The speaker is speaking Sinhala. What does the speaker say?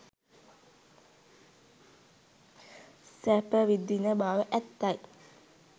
සැප විඳින බව ඇත්තයි.